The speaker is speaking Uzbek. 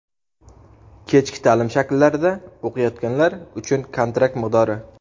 kechki ta’lim shakillarida o‘qiyotganlar uchun kontrakt miqdori.